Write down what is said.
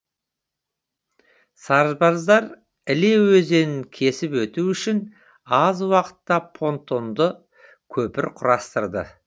сарбаздар іле өзенін кесіп өту үшін аз уақытта понтонды көпір құрастырды